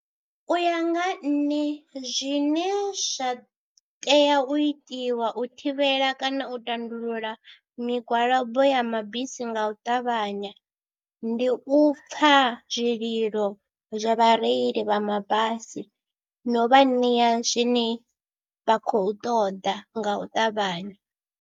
U ya nga nṋe zwine zwa tea u itiwa u thivhela kana u tandulula migwalabo ya mabisi nga u ṱavhanya, ndi u pfha zwililo zwa vhareili vha mabasi no vha ṋea zwine vha khou ṱoḓa nga u ṱavhanya.